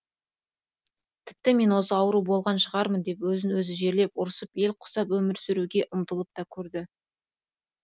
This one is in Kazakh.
тіпті мен осы ауру болған шығармын деп өзін өзі жерлеп ұрсып ел құсап өмір сүруге ұмтылып та көрді